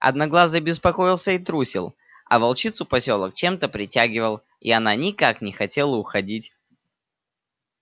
одноглазый беспокоился и трусил а волчицу посёлок чем-то притягивал и она никак не хотела уходить